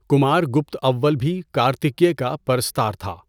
کمار گپت اوّل بھی کارتکیہ کا پرستار تھا۔